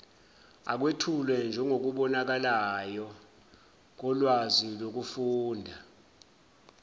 akwethulwe njengokubonakalayo kolwazilokufunda